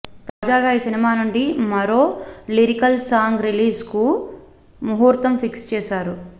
తాజాగా ఈ సినిమానుండి మరో లిరికల్ సాంగ్ రిలీజ్ కు ముహూర్తం ఫిక్స్ చేశారు